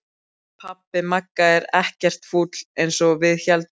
Pabbi Magga er ekkert fúll eins og við héldum!